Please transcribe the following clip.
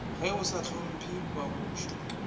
ge o sa hlopmphe babuši